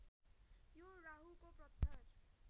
यो राहुको पत्थर